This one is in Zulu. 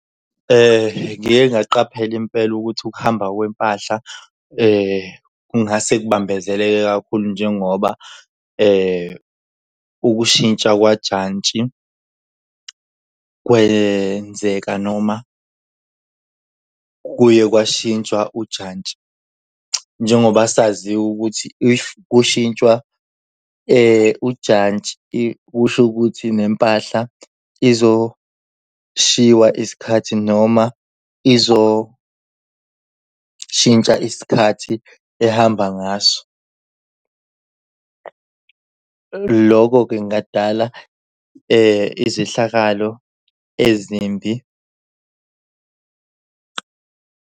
Ngike ngaqapheli impela ukuthi ukuhamba kwempahla kungase kubambezeleke kakhulu njengoba ukushintsha kwajantshi kwenzeka noma kuye kwashintshwa ujantshi njengoba saziwa ukuthi if kushintshwa ujantshi kusho ukuthi nempahla izoshiwa isikhathi noma izoshintsha isikhathi ehamba ngaso. Loko-ke kungadala izehlakalo ezimbi.